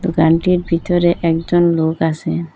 দোকানটির ভিতরে একজন লোক আসে।